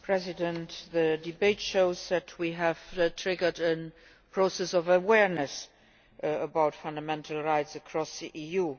Mr President, the debate shows that we have triggered a process of awareness raising about fundamental rights across the EU.